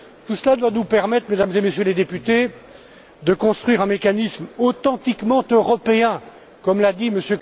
Tout cela doit nous permettre, Mesdames et Messieurs les députés, de construire un mécanisme authentiquement européen, comme l'a dit M.